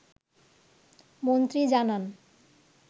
মন্ত্রী জানান